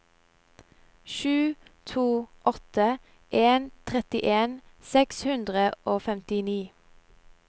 sju to åtte en trettien seks hundre og femtini